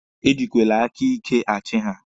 E jikwele aka ike achi ha!